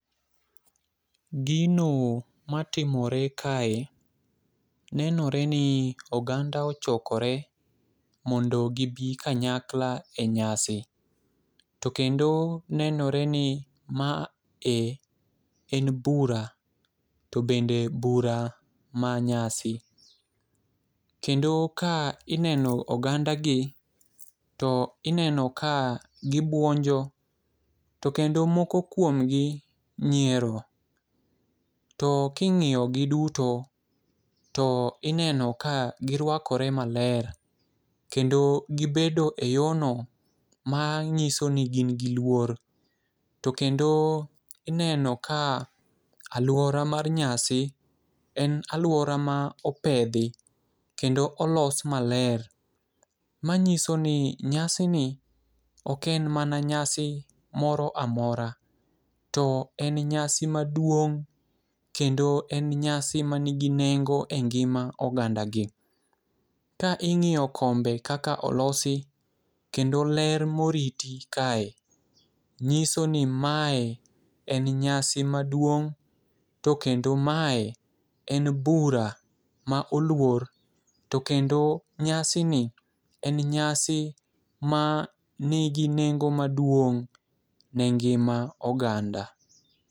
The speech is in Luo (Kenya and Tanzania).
Gino matimore kae nenore ni oganda ochokore mondo gibi kanyakla e nyasi. To kendo nenore ni ma e en bura to bende bura manyasi. Kendo ka ineno oganda gi to ineno ka gibuonjo to kendo moko kuom gi nyiero . To king'iyo gi duto to ineno ka girwakore maler kendo gibedo e yoo no mang'iso ni gin gi luor to kendo ineno ka aluora mar nyasi en aluora ma opedhi kendo olos maler . Manyiso ni nyasi ni ok en mana nyasi moro amora to en nyasi maduong' kendo en nyasi manigi nengo e ngima oganda gi. Ka ing'iyo kombe kaka olosi kendo ler moriti kae nyuso ni mae en nyasi maduong' .To kendo mae en bura ma oluor to kendo nyasi ni en nyasi ma nigi nengo maduong' ne ngima oganda.